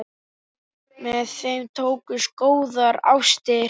Með þeim tókust góðar ástir.